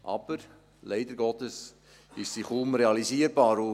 Aber leider Gottes ist sie kaum realisierbar.